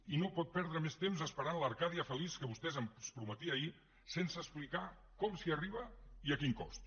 i no pot perdre més temps esperant l’arcàdia feliç que vostè ens prometia ahir sense explicar com s’hi arriba i a quin cost